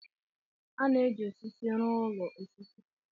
A na-eji osisi rụọ ụlọ osisi.